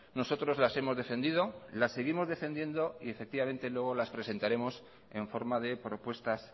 nosotros las hemos defendido las seguimos defendiendo y efectivamente luego las presentaremos en forma de propuestas